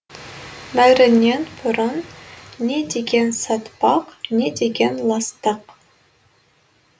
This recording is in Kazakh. бәрінен бұрын не деген сатпақ не деген ластық